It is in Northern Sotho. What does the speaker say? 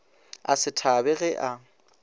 a se thabe ge a